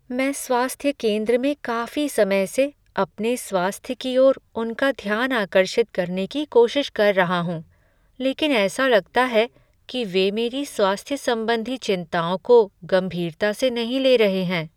मैं स्वास्थ्य केंद्र में काफी समय से अपने स्वास्थ्य की ओर उनका ध्यान आकर्षित करने की कोशिश कर रहा हूँ लेकिन ऐसा लगता है कि वे मेरी स्वास्थ्य संबंधी चिंताओं को गंभीरता से नहीं ले रहे हैं।